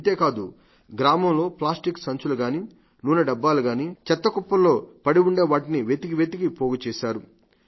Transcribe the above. ఇంతేకాదు గ్రామంలో ప్లాస్టిక్ సంచులు గానీ నూనెడబ్బాలు గానీ చెత్తకుప్పల్లో పడిఉంటే వాటిని వెతికివెతికి పోగుచేశారు